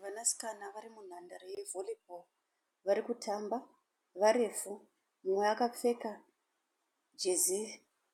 Vanasikana vari munhandare yeVolleyball varikutamba varefu. Umwe akapfeka jezi